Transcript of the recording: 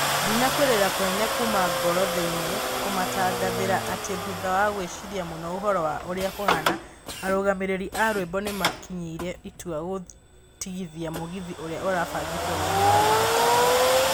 Ndĩna kũĩrira kũnene kũma ngoro thĩini kũmũtangathĩra atĩ thũtha wa gũĩciria mũno ũhoro wa ũrĩa kũhana, arũgamĩrĩri a rwĩmbo nĩmakinyĩire itua gũtigithia mũgithi ũrĩa ũrabangĩtwo gũĩkĩka Mahutini.